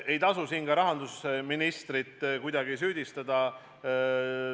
Ei tasu siin ka rahandusministrit kuidagi süüdistada.